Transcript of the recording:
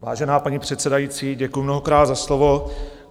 Vážená paní předsedající, děkuju mnohokrát za slovo.